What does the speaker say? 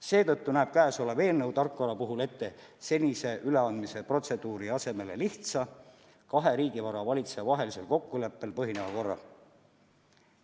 Seetõttu näeb käesolev eelnõu tarkvara puhul ette senise üleandmise protseduuri asemel lihtsa, kahe riigivara valitseja vahelisel kokkuleppel põhineva korra.